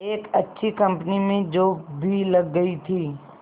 एक अच्छी कंपनी में जॉब भी लग गई थी